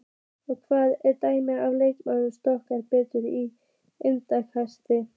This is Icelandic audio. Hvað er dæmt ef leikmaður skorar beint úr innkasti?